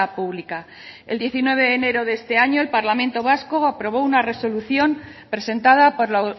pública el diecinueve de enero de este año el parlamento vasco aprobó una resolución presentada por la